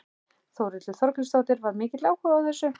Þórhildur Þorkelsdóttir: Var mikill áhugi á þessu?